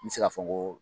N bɛ se k'a fɔ n ko